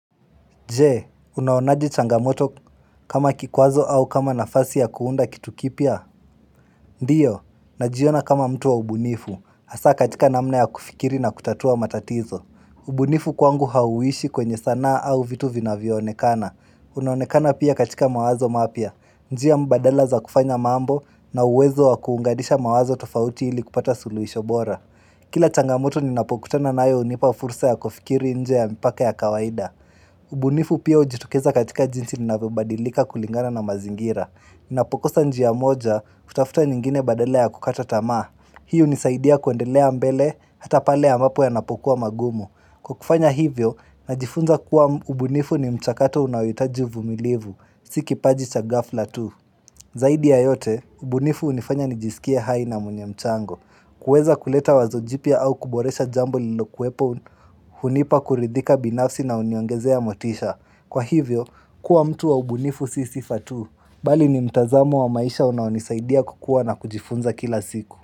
Je, unaonaje changamoto kama kikwazo au kama nafasi ya kuunda kitu kipya? Ndiyo, najiona kama mtu wa ubunifu. Hasa katika namna ya kufikiri na kutatua matatizo. Ubunifu kwangu hauishi kwenye sanaa au vitu vinayvonekana. Unaonekana pia katika mawazo mapya. Njia mbadala za kufanya mambo na uwezo wa kuunganisha mawazo tofauti ili kupata suluhisho bora. Kila changamoto ninapokutana nayo hunipa fursa ya kufikiri nje ya mpaka ya kawaida. Ubunifu pia hujitokeza katika jinsi ninavyobadilika kulingana na mazingira ninapokosa njia moja hutafuta nyingine badala ya kukata tamaa Hii hunisaidia kuendelea mbele hata pale ambapo yanapokuwa magumu Kwa kufanya hivyo, najifunza kuwa ubunifu ni mchakato unayohitaji vumilivu Sio kipaji cha ghafla tu Zaidi ya yote, ubunifu hunifanya nijisikie hai na mwenyemchango kuweza kuleta wazo jipya au kuboresha jambo lilokuepo hunipa kuridhika binafsi na huniongezea motisha Kwa hivyo, kuwa mtu wa ubunifu sio sifa tu Bali ni mtazamo wa maisha unayonisaidia kukua na kujifunza kila siku.